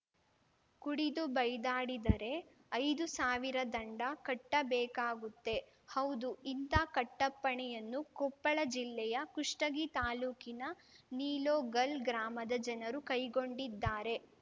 ಕುಡಿದು ಬೈದಾಡಿದರೆ ಐದು ಸಾವಿರ ದಂಡ ಕಟ್ಟಬೇಕಾಗುತ್ತೆ ಹೌದು ಇಂಥ ಕಟ್ಟಪ್ಪಣೆಯನ್ನು ಕೊಪ್ಪಳ ಜಿಲ್ಲೆಯ ಕುಷ್ಟಗಿ ತಾಲೂಕಿನ ನಿಲೋಗಲ್‌ ಗ್ರಾಮದ ಜನರು ಕೈಗೊಂಡಿದ್ದಾರೆ